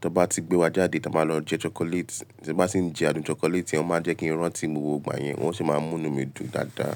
Tọ bá ti gbé wa jáde tí a bá lọ jẹ chocolate, tí n bá tì ń jẹ ádùn chocolate yẹn, o máa jẹ́ kí n rántí gbogbo ìgbà yẹn, wọn o sì máa ń mú inú mi dùn dáadáa.